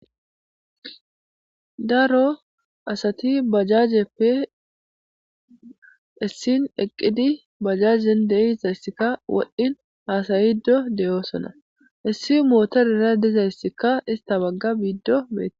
daro asati bajajeppe issin eqqidi bajajen deizayssikka wodhdhin haasayido deyoosona issi mootorera dizayssikka ista bagga biiddo bee